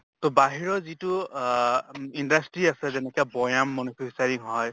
তʼ বাহিৰৰ যিটো আহ industry আছে যেনেকা বৈয়াম manufacturing হয়